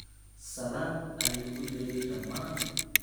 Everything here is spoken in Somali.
Salaan ayuu uu diray dhammaan.